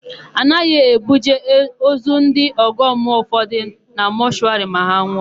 A naghị ebuje ozu ndị ọgọmmụọ ụfọdụ na mọshụwarị ma ha nwụọ.